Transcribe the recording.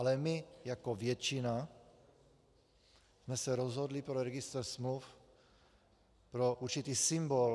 Ale my jako většina jsme se rozhodli pro registr smluv, pro určitý symbol.